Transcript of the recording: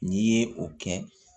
N'i ye o kɛ